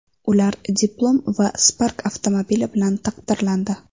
Ular diplom va Spark avtomobili bilan taqdirlandi.